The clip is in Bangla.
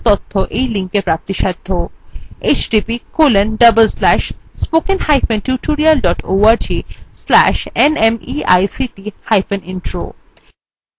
এই বিষয় বিস্তারিত তথ্য এই লিঙ্কএ প্রাপ্তিসাধ্য